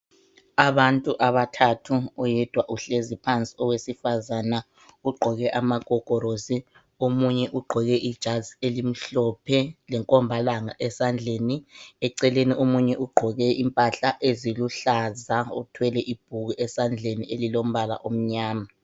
Abantu abathathu oyedwa uhlezi phansi owesifazana ugqoke amagogorosi omunye ugqoke ijazi elimhlophe lenkombalanga esandleni. Eceleni omunye ugqoke impahla eziluhlaza othwele ibhuku esandleni elilombala omnyama.